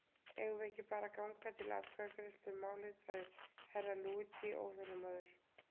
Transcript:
Eigum við ekki bara að ganga til atkvæðagreiðslu um málið, sagði Herra Luigi óþolinmóður.